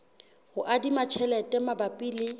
ho adima tjhelete mabapi le